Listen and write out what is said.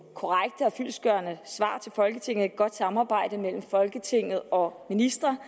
korrekte og fyldestgørende svar til folketinget et godt samarbejde mellem folketinget og ministre